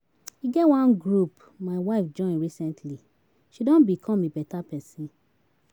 E get wan group my wife join recently, she done become a better person.